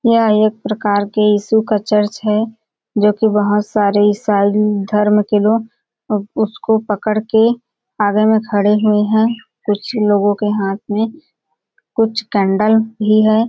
यह एक प्रकार के यीशु का चर्च है जोकि बोहोत सारे ईसाई धर्म के लोग उसको पकड़ के आगे में खड़े हुए है कुछ लोगों के हाँथ में कुछ केंडल भी हैं।